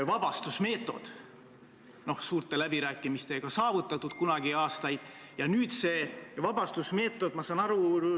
Aga argumendid on nõrgad, me ei kuulnud ei majanduskomisjonis ega ka siit puldist ühtegi tugevat argumenti, miks seda peab tegema.